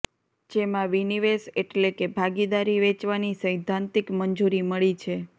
જેમાં વિનિવેશ એટલે કે ભાગીદારી વેચવાની સૈદ્ધાંતિક મંજૂરી મળી છે